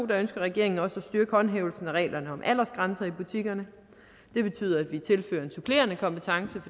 ønsker regeringen også at styrke håndhævelsen af reglerne om aldersgrænser i butikkerne det betyder at vi tilfører en supplerende kompetence